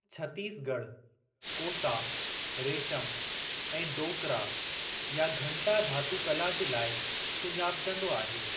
छतीसगढ़ कोसा रेशम ऐं डोकरा या घंटा धातू कला जे लाइ सुञापिजंदो आहे।